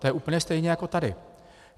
To je úplně stejné jako tady.